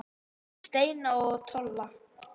Steina og Tolla?